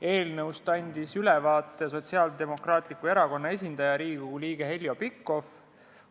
Eelnõust andis ülevaate Sotsiaaldemokraatliku Erakonna esindaja, Riigikogu liige Heljo Pikhof.